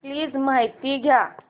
please माहिती द्या